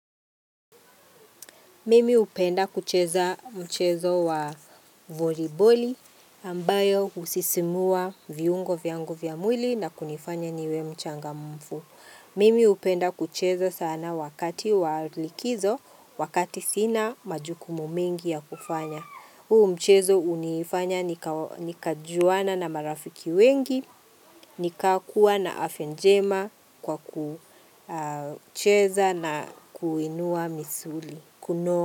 Mimi hupenda kucheza mchezo wa voliboli ambayo husisimua viungo viangu vya mwili na kunifanya niwe mchangamfu. Mimi hupenda kucheza sana wakati wa likizo, wakati sina majukumu mengi ya kufanya. Huu mchezo hunifanya nikajuana na marafiki wengi, nikakuwa na afya njema kwa kucheza na kuinua misuli.